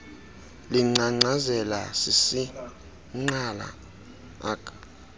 lingcangcazela sisingqala ak